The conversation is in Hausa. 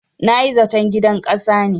Na yi zaton gidan ƙasa ne.